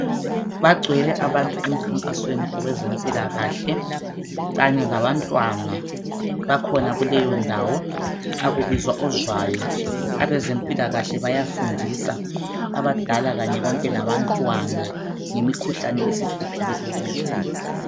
Bagcwele abantu emkhankasweni wezempilakahle Kanye labantwana bakhona kuleyo ndawo akubizwa ozwayo abadala labantwana bayafundiswa ngemikhuhlane esihluphile ezweni.